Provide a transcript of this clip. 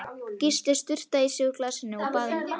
Gísli sturtaði í sig úr glasinu, og bað um annað.